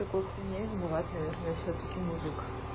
в такой хуйне виноват наверное всё-таки мужик